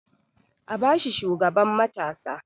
A ba shi shugaban matasa!